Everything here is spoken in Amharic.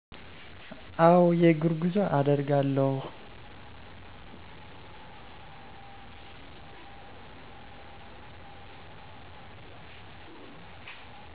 አዎ። የእግር ጉዞ አደርጋለሁ።